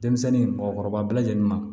Denmisɛnnin mɔgɔkɔrɔba bɛɛ lajɛlen ma